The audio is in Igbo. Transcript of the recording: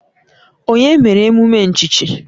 Onye mere emume nchichi?